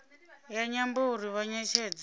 ya nyambo uri vha netshedze